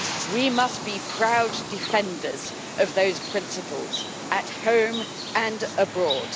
We must be proud defenders of those principles at home and abroad.